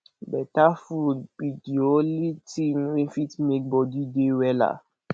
better food be de only thing wey fit make body dey wella